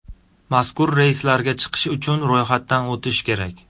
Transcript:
Mazkur reyslarga chiqish uchun ro‘yxatdan o‘tish kerak.